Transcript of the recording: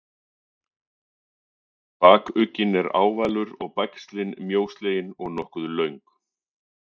Bakugginn er ávalur og bægslin mjóslegin og nokkuð löng.